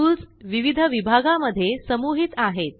tools विविध विभागा मध्ये समूहित आहेत